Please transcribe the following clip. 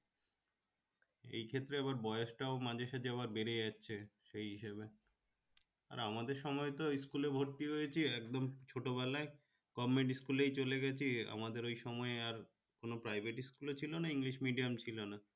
এই ক্ষেত্রে আবার বয়সটা ও মাঝেসাজে আবার বেড়ে যাচ্ছে সেই হিসেবে আর আমাদের সময় তো school এ ভর্তি হয়েছি একদম ছোট বেলায় government school এই চলে গেছি আমাদের ওই সময়ে আর কোন private school ও ছিল না english medium ছিল না